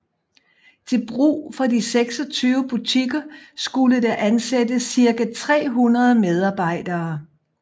Til brug for de 26 butikker skulle der ansættes cirka 300 medarbejdere